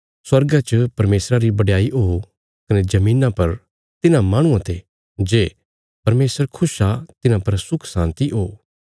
स्वर्गा च परमेशरा री बडयाई ओ कने धरतिया पर तिन्हां माहणुआं ते जे परमेशर खुश आ तिन्हां पर सुखशान्ति ओ